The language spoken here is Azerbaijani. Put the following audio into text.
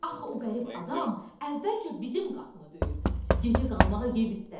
Axı o qərib adam əvvəlcə bizim qapını döyüb, gecə qalmağa yer istədi.